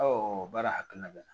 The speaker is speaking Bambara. baara hakilina bɛ n na